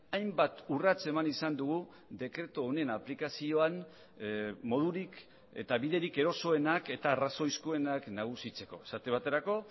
hainbat urrats eman izan dugu dekretu honen aplikazioan modurik eta biderik erosoenak eta arrazoizkoenak nagusitzeko esate baterako